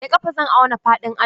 Da ƙafa zan auna faɗin ajin.